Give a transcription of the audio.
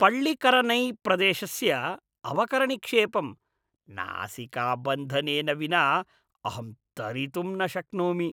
पळ्ळिकरनैप्रदेशस्य अवकरनिक्षेपं नासिकाबन्धनेन विना अहं तरितुं न शक्नोमि।